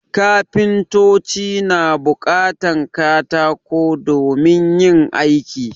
Kafintoci na buƙatan katako domin yin aiki